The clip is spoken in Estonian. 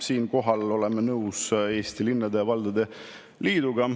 Siinkohal oleme nõus Eesti Linnade ja Valdade Liiduga.